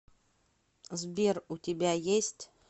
сбер у тебя есть